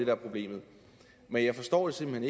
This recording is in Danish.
er problemet men jeg forstår det simpelt